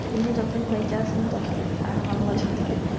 হুম উনি যতদিন বেইচ্যা আছেন ততদিন এখন আল্লা জানে